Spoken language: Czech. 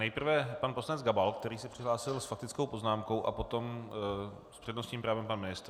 Nejprve pan poslanec Gabal, který se přihlásil s faktickou poznámkou, a potom s přednostním právem pan ministr.